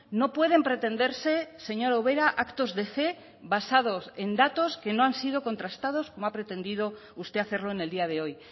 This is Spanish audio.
no pueden pretenderse señora ubera actos de fe basados en datos que no han sido contrastados como ha pretendido usted hacerlo en el día de hoy